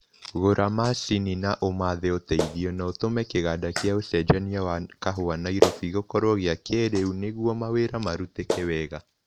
Gũra macini na umathe ũteithio, na ũtũme kĩganda kĩa ucenjania wa kahũa Nairobi gĩkorwo kĩa kĩĩrĩu nĩguo mawĩra marutĩke wega